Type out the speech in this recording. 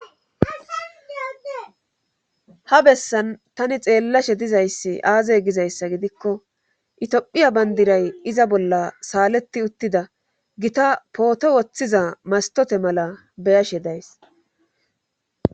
Ha bessan tani xeellashe dizayssi aazey gizayssa gidikko itiophiya bandiray iza bolla saaleti uttida gita pooto woththiza mastote mala beyashe days